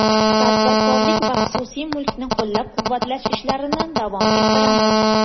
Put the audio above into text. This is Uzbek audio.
Tadbirkorlik va xususiy mulkni qo‘llab-quvvatlash ishlarini davom ettiramiz.